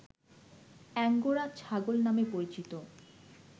angora ছাগল নামে পরিচিত